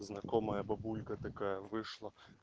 знакомая бабулька такая вышла